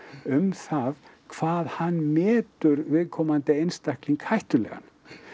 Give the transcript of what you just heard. um það hvað hann metur viðkomandi einstakling hættulegan